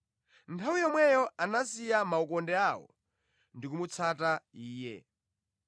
Nthawi yomweyo anasiya makoka awo namutsata Iye.